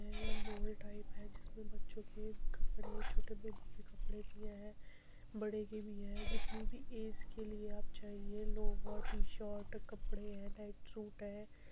ये mall type है जिसमे बच्चो के कपड़े छोटे बेबी के कपड़े भी है बड़े के भी है जितनी भी एज के लिए भी चाहिए ये लोवर टीशर्ट कपड़े है नाइटसूट है।